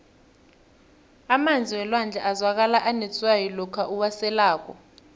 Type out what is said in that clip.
emanzi welwandle azwakala anetswayi lokha uwaselako